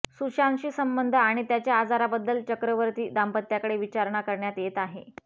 सुशांतशी संबंध आणि त्याच्या आजाराबद्दल चक्रवर्ती दाम्पत्याकडे विचारणा करण्यात येत आहे